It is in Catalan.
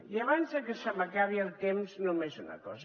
i abans de que se m’acabi el temps només una cosa